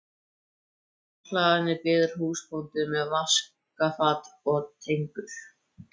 Heima á hlaðinu bíður húsbóndinn með vaskafat og tengur.